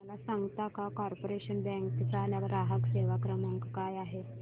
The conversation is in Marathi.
मला सांगता का कॉर्पोरेशन बँक चा ग्राहक सेवा क्रमांक काय आहे